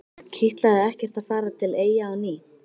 Kitlaði ekkert að fara til Eyja á ný?